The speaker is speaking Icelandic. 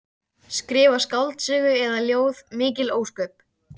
Það er nú sagt að eitthvað sé þar niðri.